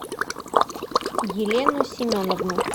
елену семеновну